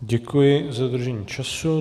Děkuji za dodržení času.